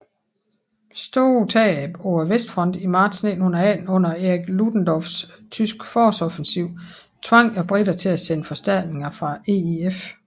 Store tab på Vestfronten i marts 1918 under Erich Ludendorffs tyske forårsoffensiv tvang briterne til at sende forstærkninger fra EEF